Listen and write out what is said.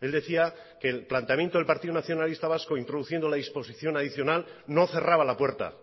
él decía que el planteamiento del partido nacionalista vasco introduciendo la disposición adicional no cerraba la puerta